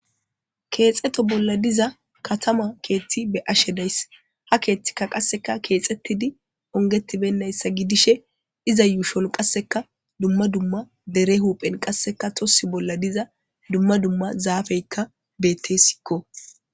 Keexeto bolla diza katama keethti be ashe days ha keethtikka qasseka keexettidi ongetibennayssa gidishe iza yuushon qasseka dumma dumma dere huphen qasseka tossi bolla diza dumma dumma zaafeykka bette sikko